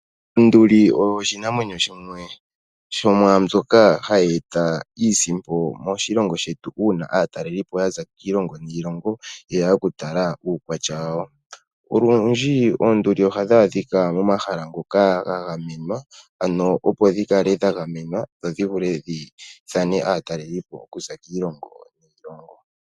Onduli oyo oshinamwenyo shimwe shomwaa mbyoka hayi eta iisimpo moshilongo shetu, una aatalelipo yaza kiilongo niilongo yeya oku tala uukwatya wayo. Olundji oonduli ohadhi adhika momahala ngoka ga gamenwa ano opo dhi kale dha gamenwa dhodhi vule dhi ithane aatalelipo okuza kiilongo niilongo.